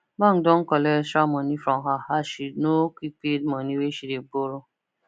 bank don collect extra money from her as she no quick pay money wey she burrow